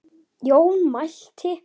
Jón mælti